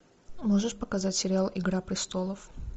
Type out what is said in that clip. можешь показать сериал игра престолов